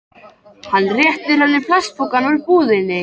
Hann réttir henni plastpokann úr búðinni.